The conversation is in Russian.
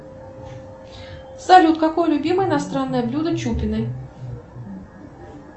салют какое любимое иностранное блюдо чупиной